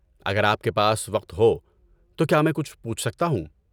اگر آپ کے پاس وقت ہو تو کیا میں کچھ پوچھ سکتا ہوں؟